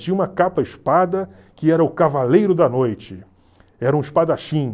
Tinha uma capa-espada que era o Cavaleiro da Noite, era um espadachim.